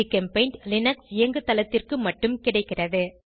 GChemPaint Linux இயங்குதளத்திற்கு மட்டும் கிடைக்கிறது